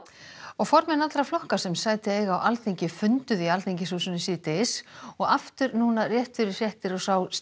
formenn allra flokka sem sæti eiga á Alþingi funduðu í Alþingishúsinu síðdegis og aftur núna rétt fyrir fréttir